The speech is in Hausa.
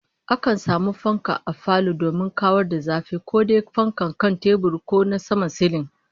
Akan samu fanka a falo domin kawar da zafi, ko dai fankar kan tebur ko ta saman silin